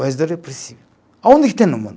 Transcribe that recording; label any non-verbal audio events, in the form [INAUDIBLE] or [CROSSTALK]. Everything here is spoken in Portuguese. [UNINTELLIGIBLE] Aonde é que tem no mundo?